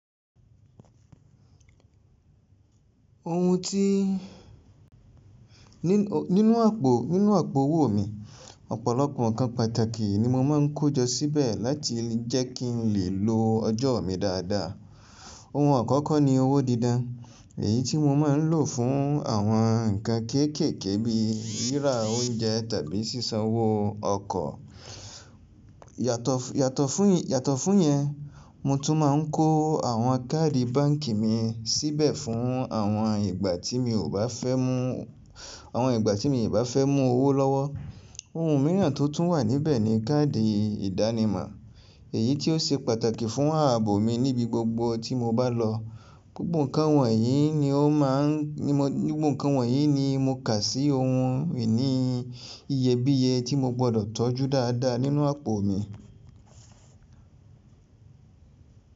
Ohun ti, nínú àpò, nínú àpò owó mi, ọ̀pọ̀lọpọ̀ ǹkan pàtàkì ni mo máa ń kó jọ síbẹ̀ láti jẹ́ kí n lè lo ọjọ́ mi dáadáa. Ohun àkọ́kọ́ ní owó dídán, èyí tí mo máa ń lò fún àwọn nǹkan kéékèèké bíi rírà oúnjẹ tàbí ṣíṣanwó ọkọ̀. Yàtọ̀ fún, yàtọ̀ fún yẹn, mo tún máa ń kó àwọn káàdì báǹkì mi síbẹ̀ fún àwọn ìgbà tí mi ò bá fẹ́ mú, àwọn ìgbà tí mi ò bá fẹ́ mú owó lọ́wọ́. Ohun mìíràn tó tún wà níbẹ̀ ni káàdì ìdánimọ̀, èyí tí ó ṣe pàtàkì fún ààbò mi níbi gbogbo tí mo bá lọ. Gbogbo nǹkan wọ̀nyí ni ó má a ń, gbogbo nǹkan wọ̀nyí ni mo kà sí ohun ìní iyebíye tí mo gbọdọ̀ tọ́jú dáadáa nínú àpò mi.